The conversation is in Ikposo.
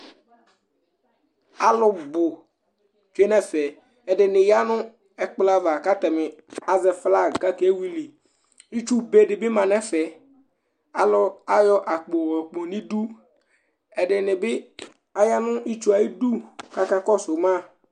Alʋbu tsʋe ŋu ɛfɛ Ɛɖìní ya ŋu ɛkplɔ ava kʋ ataŋi azɛ flag kʋ ake wìli Itsu be ɖìbí ma ŋu ɛfɛ Alu ayɔ akpo yɔɖu ŋu iɖu Ɛɖìní bi aya ŋu itsue ayʋ iɖu kakɔsu ma